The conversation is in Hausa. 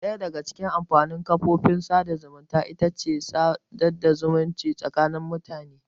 Ɗaya daga cikin amfanin kafofin sadarwa ita ce tana sada zumunci tsakanin mutane.